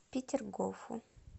петергофу